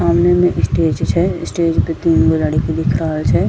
सामने मे स्टेज छै स्टेज पे तीन गो लड़की दिख रहल छै।